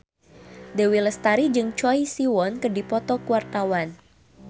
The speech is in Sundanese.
Dewi Lestari jeung Choi Siwon keur dipoto ku wartawan